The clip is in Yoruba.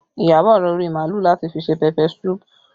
Iyabọ̀ ra orí màálù láti fi ṣe pẹpẹ suupu